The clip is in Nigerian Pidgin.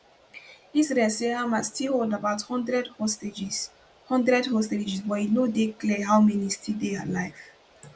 israel say hamas still hold about one hundred hostages one hundred hostages but e no dey clear how many still dey alive